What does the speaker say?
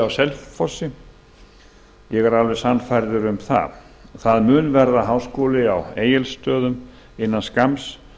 selfossi ég er alveg sannfærður um það það mun verða háskóli á egilsstöðum innan skamms